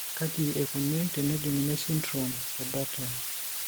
Kaji eikoni tenejung'uni esindirom eBartter?